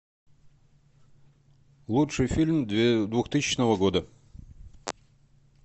лучший фильм двухтысячного года